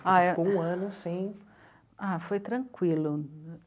Ah é... Ficou um ano sem... Ah, foi tranquilo.